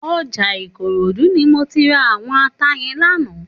Òjà Ikorodu ni mó ti rá áwòn àtá yèn làná